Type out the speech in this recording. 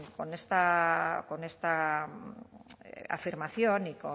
con esta afirmación y